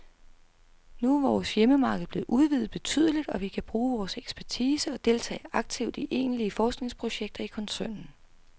Nu er vores hjemmemarked blevet udvidet betydeligt, og vi kan bruge vores ekspertise og deltage aktivt i egentlige forskningsprojekter i koncernen.